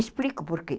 Explico por quê.